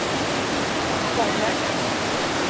bollen